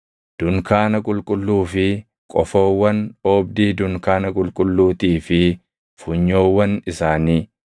dunkaana qulqulluu fi qofoowwan oobdii dunkaana qulqulluutii fi funyoowwan isaanii,